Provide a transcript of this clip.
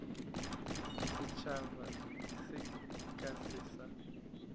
setšhaba se ka se sa